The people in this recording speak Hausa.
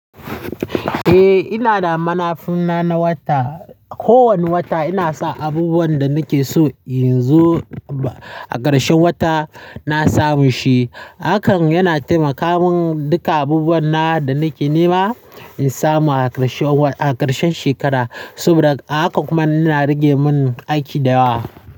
Eh, ina da manafuna na wata. Ko wani wata ina sa abubuwan da nake so in zo a ƙarshen wata na samu shi. Hakan yana taimaka min duka abubuwan na da nake nema in samu a ƙarshen shekara. Saboda a hakan kuma yana rage mun aiki da yawa.